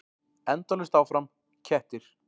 Endalaust áfram: kettir.